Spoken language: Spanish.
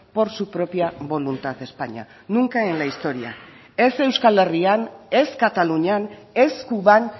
por su propia voluntad españa nunca en la historia ez euskal herrian ez katalunian ez cuban